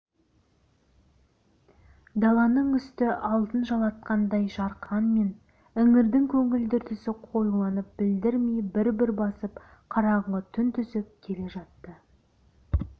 даланың үсті алтын жалатқандай жарқырағанмен іңірдің көгілдір түсі қоюланып білдірмей бір-бір басып қараңғы түн түсіп келе жатты